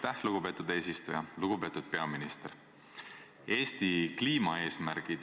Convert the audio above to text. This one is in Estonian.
Te küsite, kes meist oskab otsustada, mis on viie, seitsme või kümne aasta pärast.